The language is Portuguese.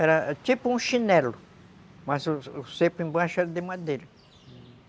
Era tipo um chinelo, mas o cepo embaixo era de madeira.